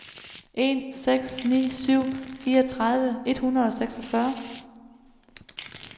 en seks ni syv fireogtredive et hundrede og seksogfyrre